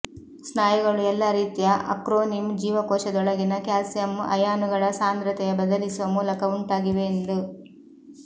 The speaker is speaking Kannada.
ಸ್ನಾಯುಗಳು ಎಲ್ಲಾ ರೀತಿಯ ಅಕ್ರೊನಿಮ್ ಜೀವಕೋಶದೊಳಗಿನ ಕ್ಯಾಲ್ಸಿಯಂ ಅಯಾನುಗಳ ಸಾಂದ್ರತೆಯ ಬದಲಿಸುವ ಮೂಲಕ ಉಂಟಾಗಿವೆ ಎಂದು